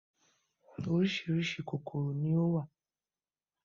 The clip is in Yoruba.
Oríṣiríṣi kòkòrò ni ó wà.